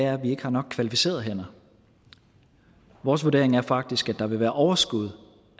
er at vi ikke har nok kvalificerede hænder vores vurdering er faktisk at der vil være et overskud